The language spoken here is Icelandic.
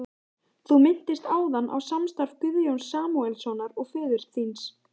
Þú minntist áðan á samstarf Guðjóns Samúelssonar og föður þíns.